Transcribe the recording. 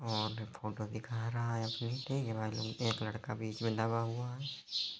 वहाँ पर फोटो दिखा रहा है एक लड़का बिच में दबा हुआ है।